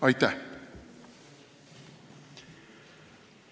Aitäh!